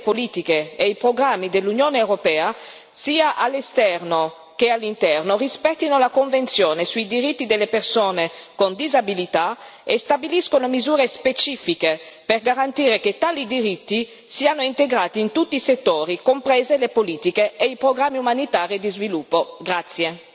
È essenziale che tutte le politiche e i programmi dell'Unione europea, sia all'esterno che all'interno, rispettino la Convenzione sui diritti delle persone con disabilità e stabiliscano misure specifiche, per garantire che tali diritti siano integrati in tutti i settori, comprese le politiche e i programmi umanitari e di sviluppo.